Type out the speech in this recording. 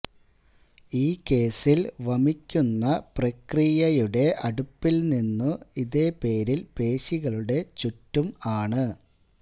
ഈ കേസിൽ വമിക്കുന്ന പ്രക്രിയയുടെ അടുപ്പിൽനിന്നു ഇതേ പേരിൽ പേശികളുടെ ചുറ്റും ആണ്